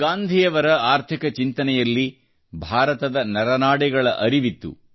ಗಾಂಧಿಯವರು ಆರ್ಥಿಕ ಚಿಂತನೆಯಲ್ಲಿ ಭಾರತದ ನರನಾಡಿಗಳ ಅರಿವಿತ್ತು